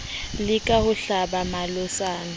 leka ho o hlaba malotsana